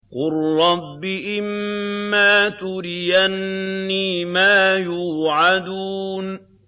قُل رَّبِّ إِمَّا تُرِيَنِّي مَا يُوعَدُونَ